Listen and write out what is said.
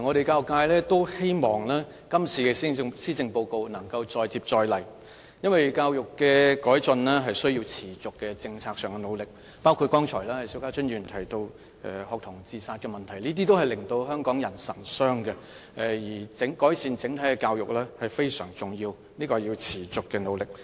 教育界希望這次施政報告能夠再接再厲，因為要改進教育是需要在政策上持續努力，包括邵家臻議員剛才提到的學童自殺問題，這些都是令香港人神傷的，而改善整體的教育非常重要，需要付出持續的努力。